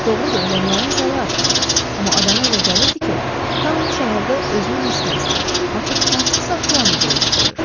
Doğrudur, ölənlərin sayı artmırdı, amma adama elə gəlirdi ki, taun şəhərdə özünə məskən salıb, artıq hansısa plan üzrə iş görür.